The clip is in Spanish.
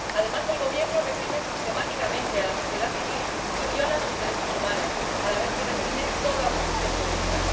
Además, el gobierno reprime sistemáticamente a la sociedad civil y viola sus derechos humanos, a la vez que reprime toda oposición política.